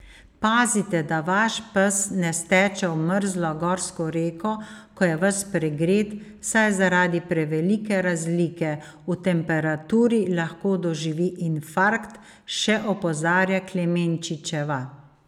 Pazite, da vaš pes ne steče v mrzlo gorsko reko, ko je ves pregret, saj zaradi prevelike razlike v temperaturi lahko doživi infarkt, še opozarja Klemenčičeva.